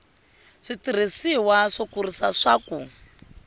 switirhisiwa swo kurisa swa ku